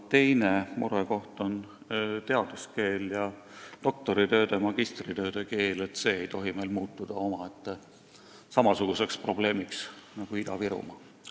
Teine murekoht on teaduskeel, doktoritööde ja magistritööde keel – see ei tohi meil muutuda samasuguseks probleemiks nagu eesti keele kasutus Ida-Virumaal.